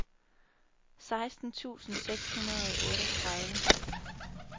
seksten tusind seks hundrede og otteogtredive